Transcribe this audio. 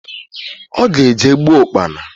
Oga eje gboo Ụkpana.